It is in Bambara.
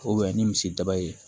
ni misi daba ye